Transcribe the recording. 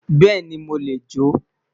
Beeni mo le jo